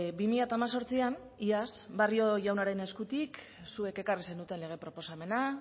bi mila hemezortzian iaz barrio jaunaren eskutik zuek ekarri zenuten lege proposamena